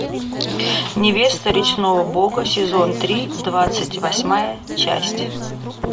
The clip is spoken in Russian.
невеста речного бога сезон три двадцать восьмая часть